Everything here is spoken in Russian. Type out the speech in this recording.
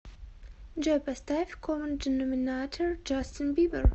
джой поставь коммон деноминатор джастин бибер